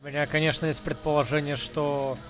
у меня конечно есть предположение что